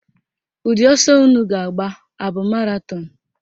Ụdị ọsọ unu ga-agba abụ maratọnụ?